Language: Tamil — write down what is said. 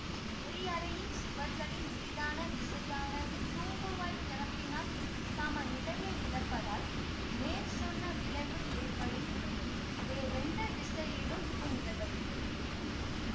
எரிஅறையின் சுவர்களின் மீதான விசையானது தூம்புவாய் திறப்பினால் சமநிலையை இழப்பதால் மேற்சொன்ன விளைவு ஏற்படுகின்றது வேறெந்த திசையிலும் இது நிகழ்வதில்லை